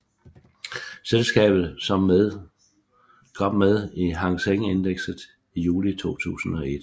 Selskabet som med i Hang Seng Index i juli 2001